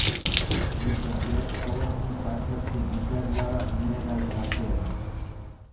બીજા બે સ્તવન પાછળથી બીજા દ્વારા ઉમેરાયેલા છે